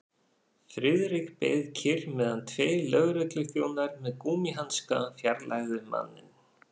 Friðrik beið kyrr meðan tveir lögregluþjónar með gúmmíhanska fjarlægðu manninn.